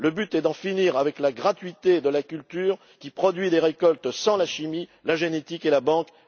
Le but est d'en finir avec la gratuité de la culture qui produit des récoltes sans la chimie, la génétique et la banque.